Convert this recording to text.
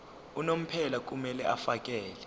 unomphela kumele afakele